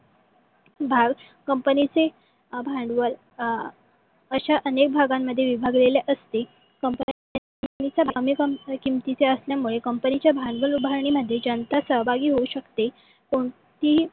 भाग कंपनीचे भांडवल अं अश्या अनेक भागांमध्ये विभागलेले असते. कंपनीच कमी किमतीचे असल्यामुळे कंपनीच्या भांडवल उभरणीमध्ये ज्यांचा सहभागी होऊ शकते. कोणतीही